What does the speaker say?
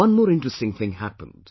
One more interesting thing happened